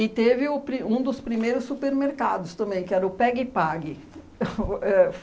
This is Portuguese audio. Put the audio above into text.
teve o pri um dos primeiros supermercados também, que era o Pega e Pague. O éh